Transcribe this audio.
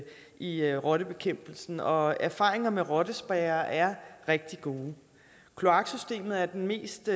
i rottebekæmpelsen og erfaringerne med rottespærrer er rigtig gode kloaksystemet er den mest